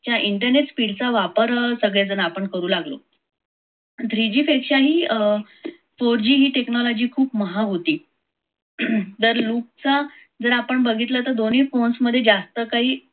च्या internet वापर सगळेजण आपण करू लागलो. three g पेक्षाही four g ही technology महाग होती. तर loop जर आपण बघितल तर दोन्ही चा phone मध्ये बघितलं तर जास्त काही